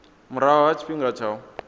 murahu ha tshifhinga tsha u